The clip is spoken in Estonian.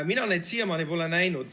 Mina neid muutusi siiamaani pole näinud.